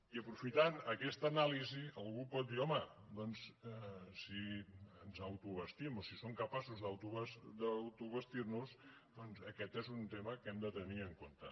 i aprofitant aquesta anàlisi algú pot dir home doncs si ens autoabastim o si som capaços d’autoabastir nos doncs aquest és un tema que hem de tenir en compte